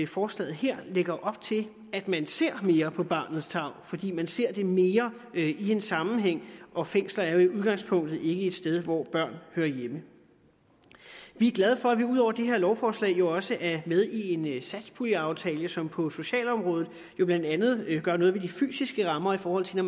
forslaget her lægger op til at man ser mere på barnets tarv fordi man ser det mere i en sammenhæng og fængsler er jo i udgangspunktet ikke et sted hvor børn hører hjemme vi er glade for at vi ud over det her lovforslag jo også er med i en satspuljeaftale som på socialområdet blandt andet gør noget ved de fysiske rammer i forhold til når